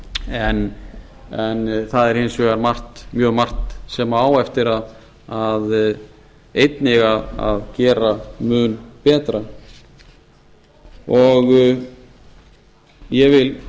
vegar en það er hins vegar margt mjög margt sem á eftir einnig að gera mun betur ég vil